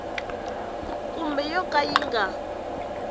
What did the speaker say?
kumbe yo ka yi nga